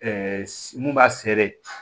mun b'a sere